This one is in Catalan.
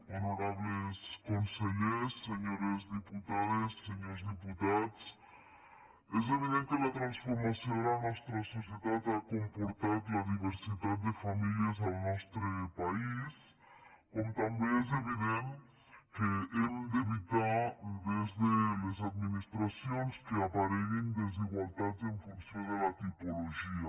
honorables consellers senyores diputades senyors diputats és evident que la transfor·mació de la nostra societat ha comportat la diversitat de famílies al nostre país com també és evident que hem d’evitar des de les administracions que apareguin desigualtats en funció de la tipologia